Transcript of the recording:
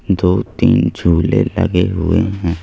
दो तीन झूले लगे हुए हैं।